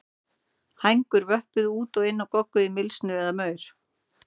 Hænur vöppuðu út og inn og gogguðu í mylsnu eða maur.